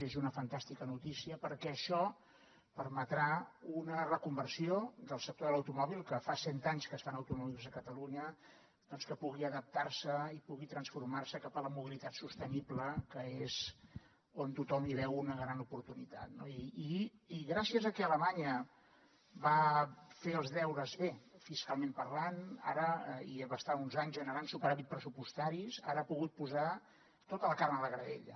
i és una fantàstica notícia perquè això permetrà una reconversió del sector de l’automòbil que fa cent anys que es fan automòbils a catalunya doncs perquè pugui adaptar se i pugui transformar se cap a la mobilitat sostenible que és on tothom hi veu una gran oportunitat no i gràcies a que alemanya va fer els deures bé fiscalment parlant i va estar uns anys generant superàvits pressupostaris ara ha pogut posar tota la carn a la graella